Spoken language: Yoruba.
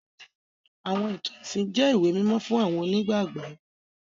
Àwọn ìtàn ẹ̀sìn jẹ ìwé mímó fun àwọn onígbàgbọ́.